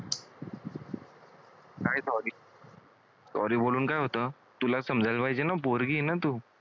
काय sorry sorry बोलून काय होतं? तुला समजायला पाहिजे ना पोरगी आहे ना तू?